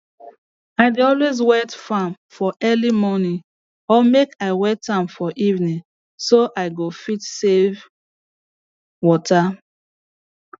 i dey always wet farm for early morning or make i wet am for evening so i go fit save water